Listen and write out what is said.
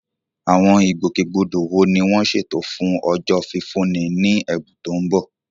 Àwọn ìgbòkègbodò wo ni wọ́n ṣètò fún Ọjọ́ Fífúnni Ní Ẹ̀bùn tó ń bọ̀?